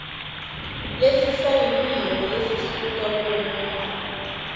lesisayiniwe lesisuka kulomuntfu